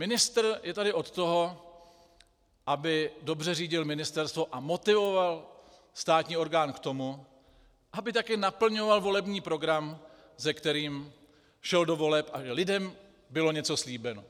Ministr je tady od toho, aby dobře řídil ministerstvo a motivoval státní orgán k tomu, aby také naplňoval volební program, s kterým šel do voleb, a že lidem bylo něco slíbeno.